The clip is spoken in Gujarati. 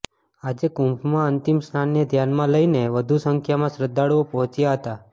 આજે કુંભમાં અંતિમ સ્નાનને ધ્યાનમાં લઇને વધુ સંખ્યામાં શ્રદ્ધાળુઓ પહોંચ્યા હતા